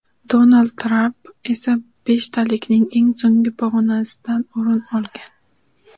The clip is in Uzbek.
Donald Tramp esa beshtalikning eng so‘nggi pog‘onasidan o‘rin olgan.